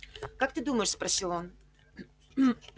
как ты думаешь спросил он